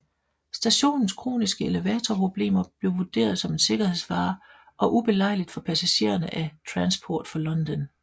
Stationens kroniske elevatorproblemer blev vurderet som en sikkerhedsfare og ubelejligt for passagerne af Transport for London